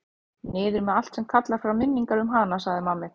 Niður með allt sem kallar fram minningar um hana, sagði mamma ykkar.